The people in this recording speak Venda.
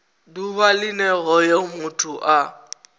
ḓuvha line hoyo muthu a